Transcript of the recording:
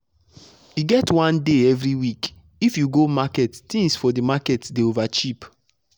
e get one day everyweekif you go market things for the market dey over cheap.